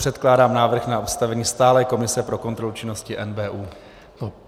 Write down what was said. Předkládám návrh na ustavení stálé komise pro kontrolu činnosti NBÚ.